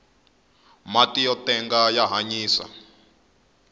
mati yo tenga ya hanyisa